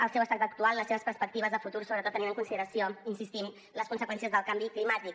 el seu estat actual les seves perspectives de futur sobretot tenint en consideració hi insistim les conseqüències del canvi climàtic